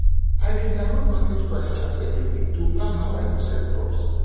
i dey download market price chart every week to plan how i go sell crops